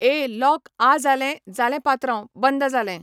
ए lock आ जालें जालें पात्रांव बंद जालें.